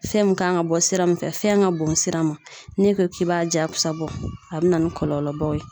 Fɛn min kan ka bɔ sira min fɛ, fɛn ka bon sira ma ,n'i ko k'i b'a jagosa bɔ, a bɛ na ni kɔlɔlɔbaw ye.